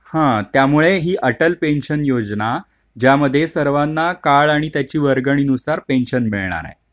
हा त्यामुळेही अटल पेन्शन योजना ज्यामध्ये , सर्वांना काळ आणि त्याची वर्गणी नुसार पेन्शन मिळणार आहे.